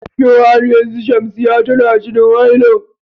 Shin har yanzu Shamsiyya tana haila?